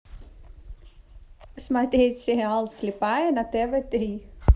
смотреть сериал слепая на тв три